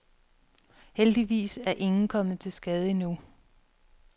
Heldigvis er ingen kommet til skade endnu.